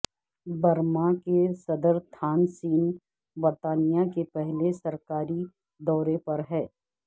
Burma کے صدر Thein Sein برطانیہ کے پہلے سرکاری دورے پر ہیں